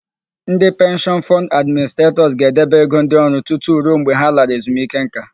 Ndị Penshịọn Fọnd Administretọs ga-edebe ego ndị ọrụ tutu ruo mgbe ha lara ezunike ńká.